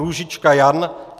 Růžička Jan